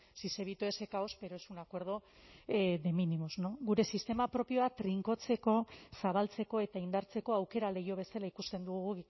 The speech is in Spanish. si se evitó ese caos pero es un acuerdo de mínimos gure sistema propioa trinkotzeko zabaltzeko eta indartzeko aukera leiho bezala ikusten dugu